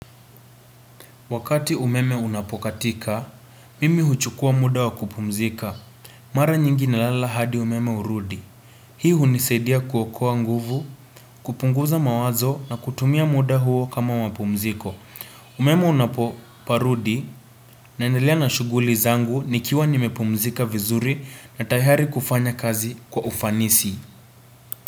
Wakati umeme unapokatika, mimi huchukua muda wakupumzika. Mara nyingi na lala hadi umeme urudi. Hii hunisaidia kuokoa nguvu, kupunguza mawazo na kutumia muda huo kama wapumziko. Umeme unapoparudi naendelea na shuguli zangu nikiwa nimepumzika vizuri na tayari kufanya kazi kwa ufanisi.